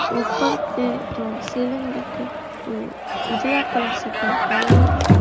ऊपर के जो सीलिंग बाटे ऊ उजरा कलर से पेंट कईले बा।